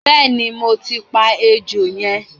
bẹẹni mo ti pa ejò yẹn